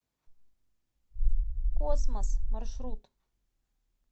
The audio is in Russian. космос маршрут